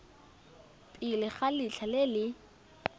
pele ga letlha le le